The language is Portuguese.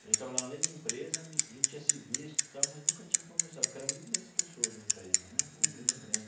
A gente trabalhava na mesma empresa, a gente tinha se visto tal, mas nunca tinha conversado, porque eram mil e duzentas pessoas na empresa né, uma empresa grande.